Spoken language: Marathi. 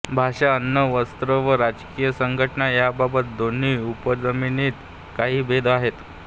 भाषा अन्न वस्त्र व राजकीय संघटना यांबाबत दोन्ही उपजमातींत काही भेद आहेत